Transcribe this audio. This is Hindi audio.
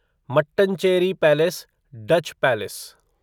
Mattancherry palace Dutch palace